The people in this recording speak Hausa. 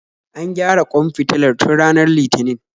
An gyara ƙwan fitilar tun ranar litinin